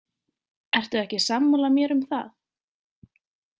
Ertu ekki sammála mér um það?